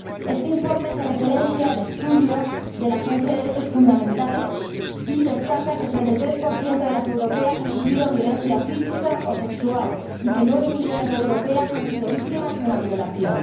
Este informe hace referencia al estudio de la Agencia de los Derechos Fundamentales y destaca que el 33 de las europeas ha sufrido violencia física o sexual y que 9 millones de europeas han sido víctimas de una violación.